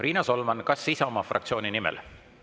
Riina Solman, kas Isamaa fraktsiooni nimel?